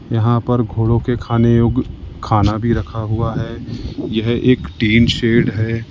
यहां पर घोड़ा के खाने योग्य खाना भी रखा हुआ है यह एक टीन शेड है।